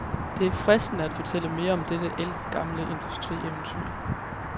Det er fristende at fortælle mere om dette ældgamle industrieventyr.